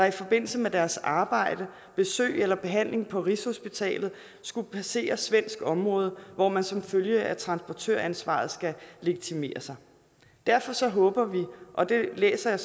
i forbindelse med deres arbejde besøg eller behandling på rigshospitalet skulle passere svensk område hvor man som følge af transportøransvaret skal legitimere sig derfor håber vi og det læser jeg